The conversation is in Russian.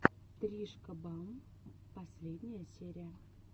тришка бам последняя серия